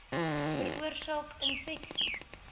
veroorsaak infeksie